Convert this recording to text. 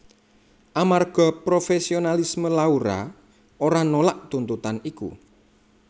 Amarga profesionalisme Laura ora nolak tuntutan iku